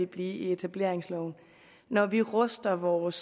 blive i etableringsloven når vi ruster vores